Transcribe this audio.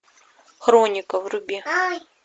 хроника вруби